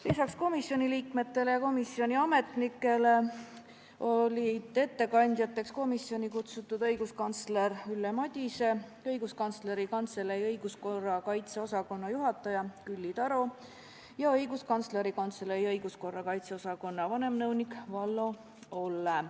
Lisaks komisjoni liikmetele ja komisjoni ametnikele olid komisjoni kutsutud õiguskantsler Ülle Madise, Õiguskantsleri Kantselei õiguskorra kaitse osakonna juhataja Külli Taro ja vanemnõunik Vallo Olle.